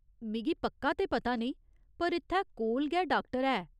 मिगी पक्का ते पता नेईं, पर इत्थै कोल गै डाक्टर है।